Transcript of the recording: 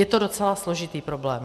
Je to docela složitý problém.